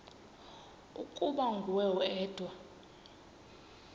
ukuba nguwe wedwa